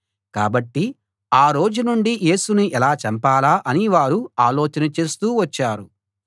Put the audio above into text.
కాబట్టి ఆ రోజు నుండి యేసును ఎలా చంపాలా అని వారు ఆలోచన చేస్తూ వచ్చారు